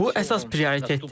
Bu əsas prioritettir.